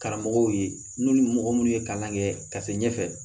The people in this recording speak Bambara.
Karamɔgɔw ye n'u ni mɔgɔ minnu ye kalan kɛ ka se ɲɛfɛ